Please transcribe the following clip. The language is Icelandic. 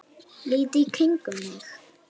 Lít í kringum mig.